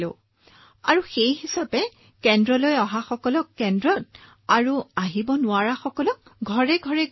sir তাৰ পিছত তেওঁলোকক দিয়া হল যিসকল কেন্দ্ৰলৈ আহিব নোৱাৰিলে বাদ পৰি গল